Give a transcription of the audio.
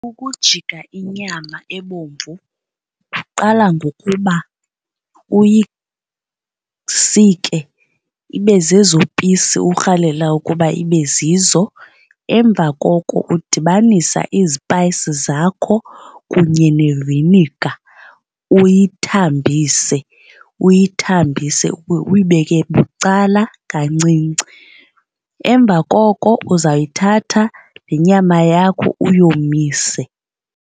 Ukujika inyama ebomvu kuqala ngokuba uyisike ibe zezoo pisi urhalela ukuba ibe zizo. Emva koko udibanisa izipayisi zakho kunye neviniga, uyithambise uyathambise uyibeke bucala kancinci. Emva koko uzayithatha le nyama yakho uyomise.